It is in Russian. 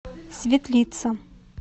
светлица